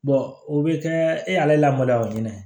o bɛ kɛ e y'ale lamaloya o ɲɛna